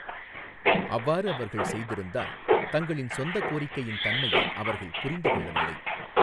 அவ்வாறு அவர்கள் செய்திருந்தால், தங்களின் சொந்த கோரிக்கையின் தன்மையை அவர்கள் புரிந்து கொள்ளவில்லை.